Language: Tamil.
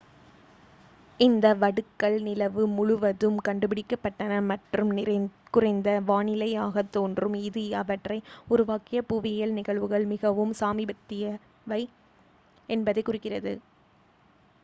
இந்த வடுக்கள் நிலவு முழுவதும் கண்டுபிடிக்கப்பட்டன மற்றும் குறைந்த வானிலையாகத் தோன்றும் இது அவற்றை உருவாக்கிய புவியியல் நிகழ்வுகள் மிகவும் சமீபத்தியவை என்பதைக் குறிக்கிறது